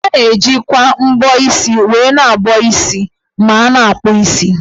A na-ejikwa mbọ isi were na-abọ isi ma a na-akpụ isi.